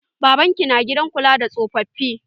Baban ki na gidan kula da tsofafi.